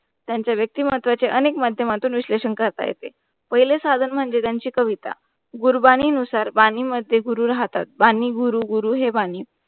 त्यांचा व्यक्तिमत्वाचे अनेक माध्यमातुन विशलेषण करता येते. पहिले साधन म्हणजे त्यांचे कविता. गुरुबानी नुसार बानी मध्ये गुरु राहतात. बानी गुरु - गुरु हे बानी.